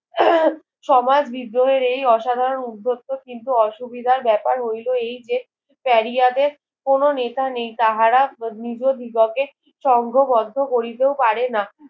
উম সমাজ বেদ্রোহের এই অসাধারণ উদ্ধত্ত কিন্তু অসুবিধার ব্যাপার হইলো এই যে পেরিয়াদের কোনো নেতা নেই তাহারা নিজ দিগে সঙ্গবদ্ধ করিতেও পারেনা